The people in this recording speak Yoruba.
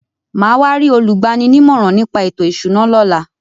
Màá wá rí olúgbani nímọ̀ràn ní pa ètò ìṣúná lọ́la.